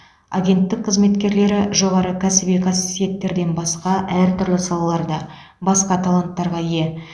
агенттік қызметкерлері жоғары кәсіби қасиеттерден басқа әртүрлі салаларда басқа таланттарға ие